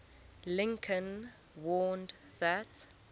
lincoln warned that